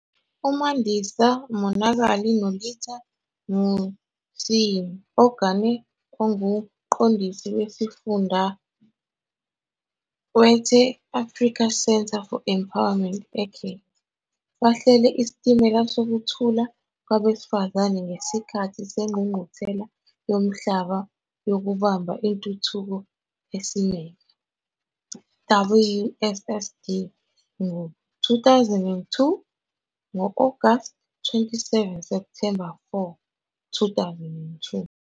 UMandisa Monakali noLitha Musyimi-Ogana onguMqondisi Wesifunda we-The African Centre for Empowerment eKenya bahlele iSitimela Sokuthula Kwabesifazane ngesikhathi seNgqungquthela Yomhlaba Yokubamba Intuthuko Esimeme, WSSD, ngo-2002, ngo-Agasti 27-Septhemba 4, 2002.